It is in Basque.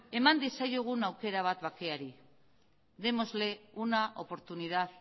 eman diezaiogun aukera bat bakeari démosle una oportunidad